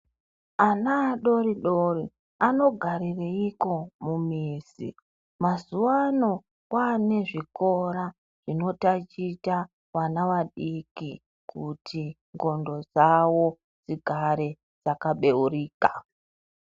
Ana adodori anogarireiko mumizi , mazuva ano kwane zvikora zvinoticha vana vadiki kuti ndxondo dzavo dzigare dzakabeurika.